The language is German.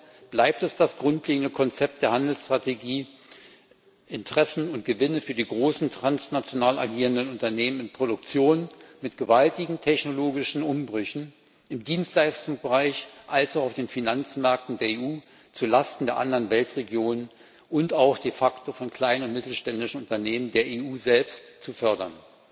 Dennoch bleibt es das grundlegende Konzept der Handelsstrategie, Interessen und Gewinne für die großen transnational agierenden Unternehmen in Produktion mit gewaltigen technologischen Umbrüchen sowohl im Dienstleistungsbereich als auch auf den Finanzmärkten der EU zulasten der anderen Weltregionen und auch de facto von kleinen und mittleren Unternehmen der EU selbst zu fördern.